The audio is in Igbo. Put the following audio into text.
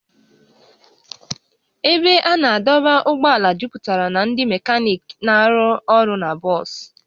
Ebe a na-adọba ụgbọala juputara na ndị mekaniiki na-arụ ọrụ na bọs